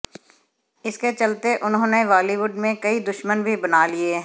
इसके चलते उन्होंने बॉलीवुड में कई दुश्मन भी बना लिये हैं